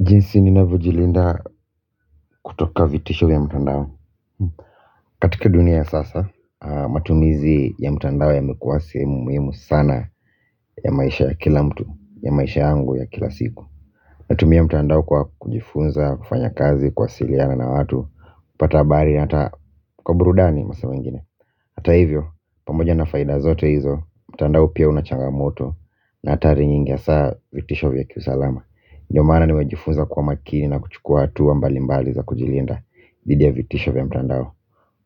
Jinsi ninavyojilinda kutoka vitisho vya mtandao katika dunia sasa. Matumizi ya mtandao yamekuwa sehemu muhimu sana ya maisha ya kila mtu, ya maisha yangu ya kila siku. Natumia mtandao kwa kujifunza, kufanya kazi, kuwasiliana na watu, kupata habari hata kwa burudani masaa zingine. Hata hivyo, pamoja na faida zote hizo, mtandao pia unachangamoto na hatari nyingi hasaa vitisho vya kiusaalama ndio maana nimejifunza kuwa makini na kuchukua hatu mbali mbali za kujilinda didi ya vitisho vya mtandao.